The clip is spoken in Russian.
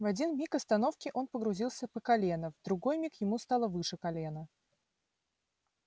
в один миг остановки он погрузился по колено в другой миг ему стало выше колена